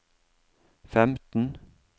femten